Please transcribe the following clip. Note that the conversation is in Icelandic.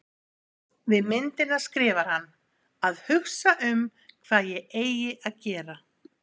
Við myndina skrifar hann: Að hugsa um hvað ég eigi að gera